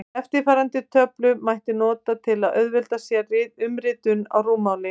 Eftirfarandi töflu mætti nota til að auðvelda sér umritun á rúmmáli.